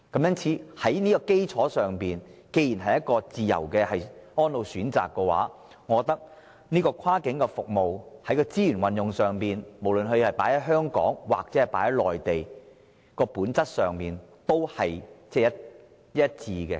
因此，在這個基礎上，既然是自由的安老選擇，我認為跨境服務在資源運用上，無論是投放於香港還是內地，本質上應屬一致。